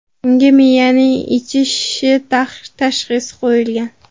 Unga miyaning ichki shishi tashxisi qo‘yilgan.